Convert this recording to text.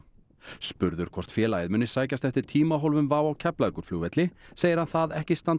spurður hvort félagið muni sækjast eftir tímahólfum WOW á Keflavíkurflugvelli segir hann það ekki standa